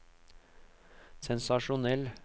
sensasjonell